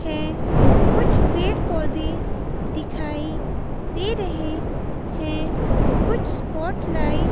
है कुछ पेड़ पौधे दिखाई दे रहे हैं कुछ स्पॉटलाइट --